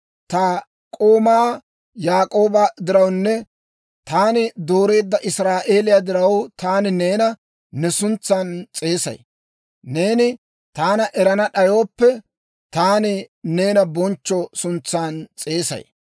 Ta k'oomaa Yaak'ooba dirawunne taani dooreedda Israa'eeliyaa diraw, taani neena ne suntsan s'eesay. Neeni taana erana d'ayooppe, taani neena bonchcho suntsan s'eesay.